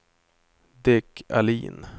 Dick Ahlin